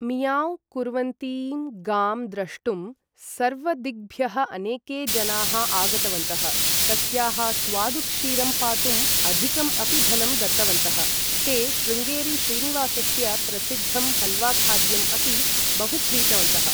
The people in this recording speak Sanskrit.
मियाव्ँ कुर्वन्तीं गां द्रष्टुं, सर्वदिग्भ्यः अनेके जनाः आगतवन्तः। तस्याः स्वादुक्षीरं पातुं अधिकं अपि धनं दत्तवन्तः। ते शृङ्गेरी श्रीनिवासस्य, प्रसिद्धं हल्वाखाद्यम् अपि बहु क्रीतवन्तः।